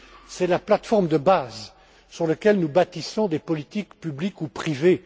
C'est la plateforme de base, sur laquelle nous bâtissons des politiques publiques ou privées.